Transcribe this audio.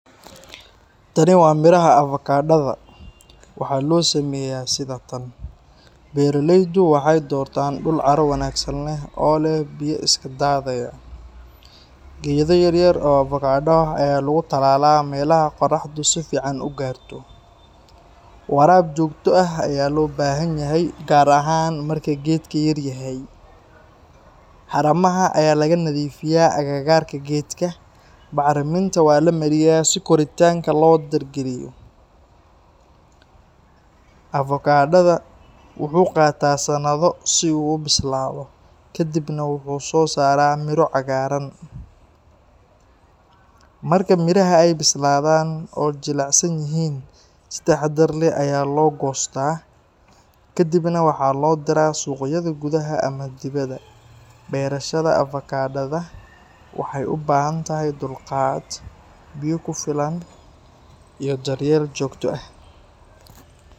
Tani waa miraha avocada. Waxaa loo sameeyaa sidatan. Beeraleydu waxay doortaan dhul carro wanaagsan leh oo leh biyo iska daadaya. Geedo yaryar oo avocado ah ayaa lagu tallaalaa meelaha qoraxdu si fiican u gaarto. Waraab joogto ah ayaa loo baahan yahay, gaar ahaan marka geedka yaryahay. Haramaha ayaa laga nadiifiyaa agagaarka geedka, bacrimintana waa la mariyaa si koritaanka loo dardargeliyo. Avocada wuxuu qaataa sanado si uu u bislaado, kadibna wuxuu soo saaraa miro cagaaran. Marka miraha ay bislaadaan oo jilicsan yihiin, si taxaddar leh ayaa loo goostaa. Kadibna waxaa loo diraa suuqyada gudaha ama dibadda. Beerashada avocado waxay u baahan tahay dulqaad, biyo ku filan, iyo daryeel joogto ah.